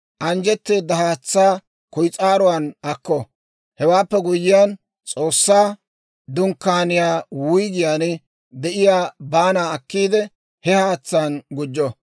Anjjetteeda haatsaa kuyis'aaruwaan akko. Hewaappe guyyiyaan, S'oossaa Dunkkaaniyaa wuyggiyaan de'iyaa baanaa akkiide, he haatsaan gujjo.